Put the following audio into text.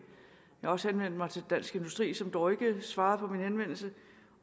jeg har også henvendt mig til dansk industri som dog ikke svarede på min henvendelse